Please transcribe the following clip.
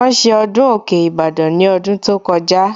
Wọ́n ṣe ọdún òkè Ìbàdàn ní ọdún tó kọjá